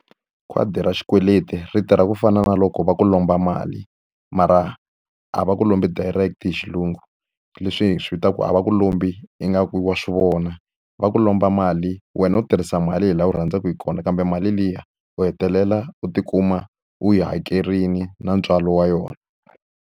Khadi ra xikweleti ri tirha ku fana na loko va ku lomba mali, mara a va ku lombi direct-i hi xilungu. Leswi hi swi vitanaka ku a va ku lombi ingaku wa swi vona. Va ku lomba mali wena u tirhisa mali hi laha wu rhandzaka hi kona, kambe mali liya u hetelela u tikuma u yi hakerile na ntswalo wa yona.